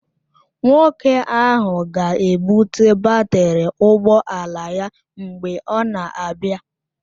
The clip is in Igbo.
Nwoke ahụ ga-ebụte batrị ụgbọ ala ya mgbe ọ na-abịa